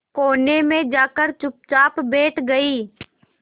कोने में जाकर चुपचाप बैठ गई